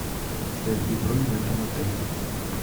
подтверди бронь в этом отеле